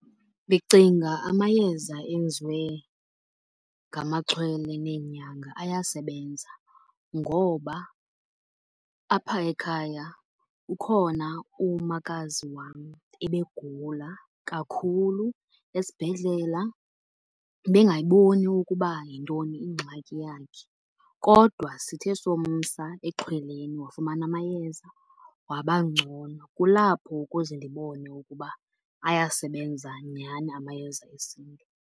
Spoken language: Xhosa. Ndicinga amayeza enziwe ngamaxhwele neenyanga ayasebenza, ngoba apha ekhaya ukhona umakazi wam ebegula kakhulu. Esibhedlela bengayiboni ukuba yintoni ingxaki yakhe kodwa sithe somsa exhweleni wafumana amayeza waba ngcono. Kulapho ukuze ndibone ukuba ayasebenza nyhani amayeza esiNtu.